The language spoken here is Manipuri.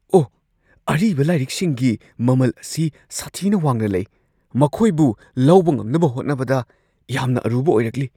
ꯑꯣꯍ! ꯑꯔꯤꯕ ꯂꯥꯏꯔꯤꯛꯁꯤꯡꯒꯤ ꯃꯃꯜ ꯑꯁꯤ ꯁꯥꯊꯤꯅ ꯋꯥꯡꯅ ꯂꯩ ꯫ ꯃꯈꯣꯏꯕꯨ ꯂꯧꯕ ꯉꯝꯅꯕ ꯍꯣꯠꯅꯕꯗ ꯌꯥꯝꯅ ꯑꯔꯨꯕ ꯑꯣꯏꯔꯛꯂꯤ ꯫